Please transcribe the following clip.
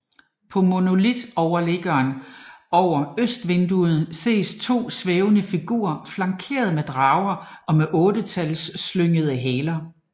På monolitoverliggeren over østvinduet ses to svævende figurer flankeret af drager med ottetalsslyngede haler